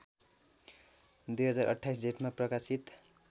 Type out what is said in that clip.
२०२८ जेठमा प्रकाशित